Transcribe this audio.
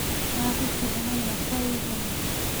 Ahikire na mĩaka ĩigana